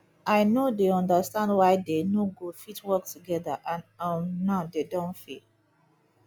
i no dey understand why dey no go fit work together and um now dey don fail